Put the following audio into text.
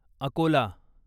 Akola